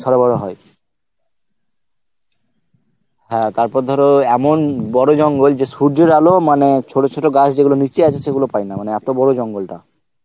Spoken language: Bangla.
সরগর হয়, হ্যাঁ তারপর ধরো এমন বড় জঙ্গল যে সূর্যের আলো মানে ছোট ছোট গাছ যেগুলো নিচে আছে সেগুলো পায় না মানে এত বড় জঙ্গলটা